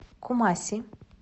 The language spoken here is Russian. кумаси